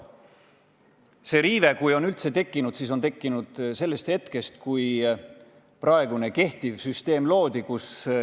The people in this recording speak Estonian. Kui see riive on üldse tekkinud, siis on see tekkinud hetkel, kui praegune süsteem loodi.